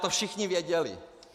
To všichni věděli!